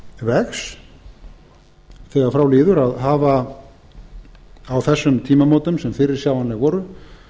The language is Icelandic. vegs þegar frá líður á þessum tímamótum sem fyrirsjáanleg voru